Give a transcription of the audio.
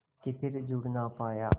के फिर जुड़ ना पाया